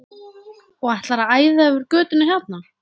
Og ætlar að æða yfir götuna hérna!